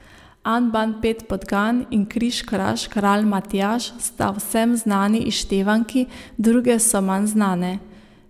An ban pet podgan in Križ kraž kralj Matjaž sta vsem znani izštevanki, druge so manj znane.